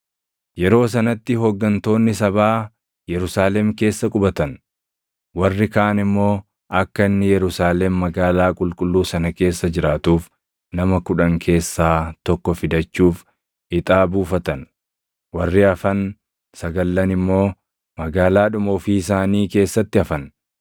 Yeroo sanatti hooggantoonni sabaa Yerusaalem keessa qubatan; warri kaan immoo akka inni Yerusaalem magaalaa qulqulluu sana keessa jiraatuuf nama kudhan keessaa tokko fidachuuf ixaa buufatan; warri hafan sagallan immoo magaalaadhuma ofii isaanii keessatti hafan.